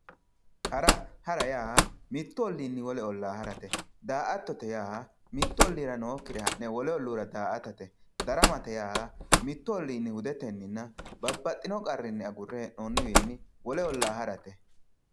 hara hara yaa mittu oliinni wole ollaa harate daa"attote yaa mittu olliira nookkire ha'ne wolu olliira daa"atate daramate yaa mittu olliinni hudetenninna babbaxino qarrinni agure hee'noonniwiinni wole ollaa harate